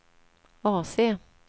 AC